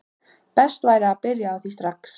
Best væri að byrja á því strax.